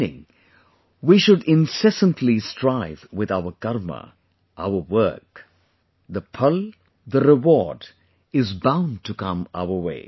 Meaning, we should incessantly strive with our Karma, our work; the Phal, the reward is bound to come your way